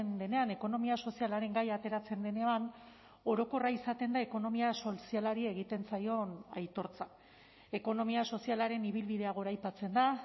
denean ekonomia sozialaren gaia ateratzen denean orokorra izaten da ekonomia sozialari egiten zaion aitortza ekonomia sozialaren ibilbidea goraipatzen da